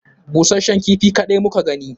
Busashshen kifi kaɗai muka gani